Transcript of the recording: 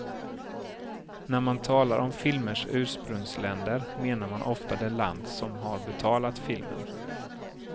När man talar om filmers ursprungsländer menar man ofta det land som har betalat filmen.